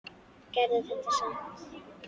Gerðu þetta samt.